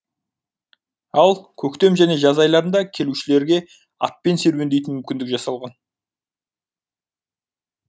ал көктем және жаз айларында келушілерге атпен серуендейтін мүмкіндік жасалған